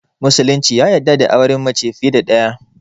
Musulunci ya yarda da auren mace fiye da ɗaya